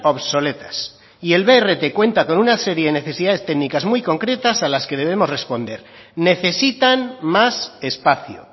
obsoletas y el brt cuenta con una serie de necesidades técnicas muy concretas a las que debemos responder necesitan más espacio